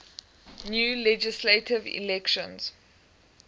new legislative elections